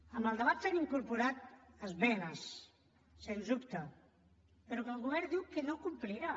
en el debat s’han incorporat esmenes sens dubte però que el govern diu que no complirà